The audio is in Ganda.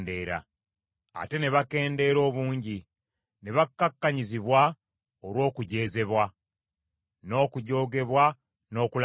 Ate ne bakendeera obungi, ne bakkakkanyizibwa olw’okujeezebwa, n’okujoogebwa n’okulaba ennaku;